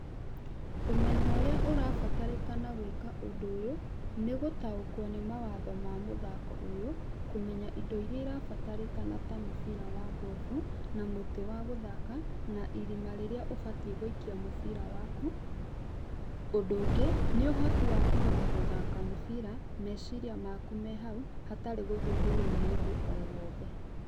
Ũmenyo ũrĩa ũrabatĩrĩkana gwĩka ũndũ ũyũ nĩ gũtaũkwo nĩ mawatho ma mũthako ũyũ, kũmenya indo iria irabatĩrĩkana ta mũbira wa ngobu na mũtĩ wa gũthaka na irima rĩrĩa ũbatiĩ gũikia mũbira waku. Ũndũ ũngĩ nĩ ũhoti wa kũhota gũthaka mũbira meciria maku me hau hatarĩ gũthumbũrwo nĩ ũndũ o wothe.